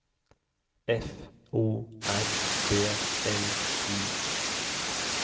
F O R B L I